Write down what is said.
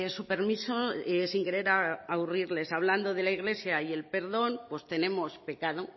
su permiso sin querer aburrirles hablando de la iglesia y el perdón pues tenemos pecado